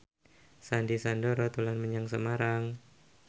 Sandy Sandoro dolan menyang Semarang